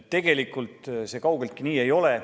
Tegelikult see kaugeltki nii ei ole.